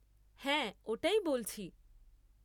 হ্যাঁ ওটাই বলছি।